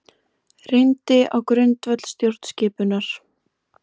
Reyndi á grundvöll stjórnskipunar